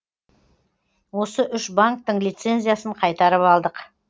осы үш банктің лицензиясын қайтарып алдық